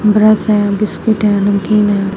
Brush है biscuit हैं नमकीन हैं।